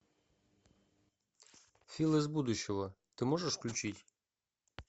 фил из будущего ты можешь включить